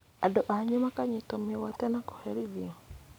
Andũ anyu makanyitwo mĩgwate na kũherithio